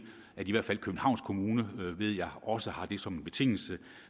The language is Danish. at i hvert fald københavns kommune ved jeg også har det med som en betingelse